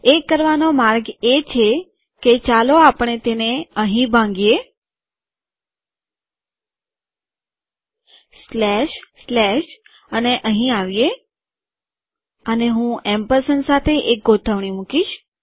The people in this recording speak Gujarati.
એ કરવાનો માર્ગ એ છે કે ચાલો આપણે તેને અહીં ભાંગીએ સ્લેશ સ્લેશ અને અહીં આવીએ અને હું એમ્પરસેન્ડ સાથે એક ગોઠવણી મુકીશ